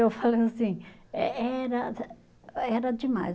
Eu falei assim, eh era, era demais.